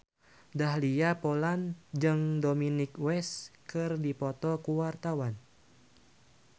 Dahlia Poland jeung Dominic West keur dipoto ku wartawan